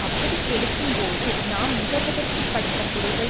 அப்படிக் கெடுக்கும்போது நாம் நுகர்வதற்குப் படைத்த பொருள்கள்